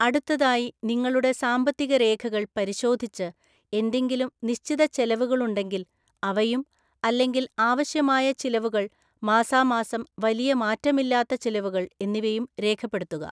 അടുത്തതായി, നിങ്ങളുടെ സാമ്പത്തിക രേഖകൾ പരിശോധിച്ച് എന്തെങ്കിലും നിശ്ചിത ചെലവുകളുണ്ടെങ്കിൽ അവയും, അല്ലെങ്കിൽ അവശ്യമായ ചിലവുകൾ, മാസാമാസം വലിയ മാറ്റമില്ലാത്ത ചിലവുകൾ എന്നിവയും രേഖപ്പെടുത്തുക.